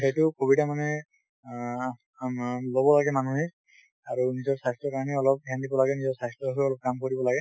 সেইটো সুবিধা মানে অ আমাৰ লব লাগে মানুহে আৰু নিজৰ স্বাস্থ্যৰ কাৰনে অলপ ধ্যান দিব লাগে । নিজৰ স্বাস্থ্যৰ হৈও অলপ কাম কৰিব লাগে